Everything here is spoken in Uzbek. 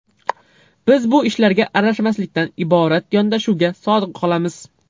Biz bu ishlarga aralashmaslikdan iborat yondashuvga sodiq qolamiz.